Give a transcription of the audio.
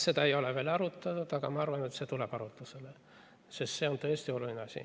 Seda ei ole veel arutanud, aga samas ma arvan, et see tuleb arutusele, sest see on tõesti oluline asi.